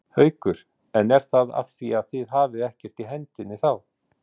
Haukur: En er það af því að þið hafið ekkert í hendinni þá?